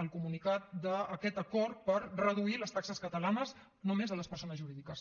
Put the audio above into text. el comunicat d’aquest acord per reduir les taxes catalanes només a les persones jurídiques